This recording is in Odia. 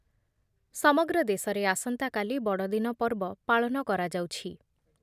ସମଗ୍ର ଦେଶରେ ଆସନ୍ତାକାଲି ବଡ଼ଦିନ ପର୍ବ ପାଳନ କରାଯାଉଛି ।